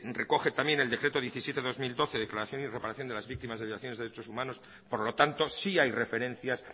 recoge también en el decreto diecisiete barra dos mil doce declaración y reparación de las víctimas de violaciones de derechos humanos por lo tanto sí hay referencias